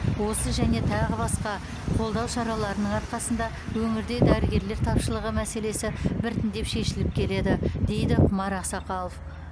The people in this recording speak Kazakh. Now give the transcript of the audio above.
осы және тағы басқа қолдау шараларының арқасында өңірде дәрігерлер тапшылығы мәселесі біртіндеп шешіліп келеді дейді құмар ақсақалов